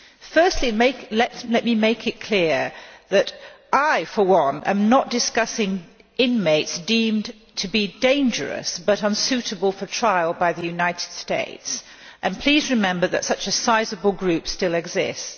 Firstly, let me make it clear that I for one am not discussing inmates deemed to be dangerous but unsuitable for trial by the United States, and please remember that such a sizeable group still exists.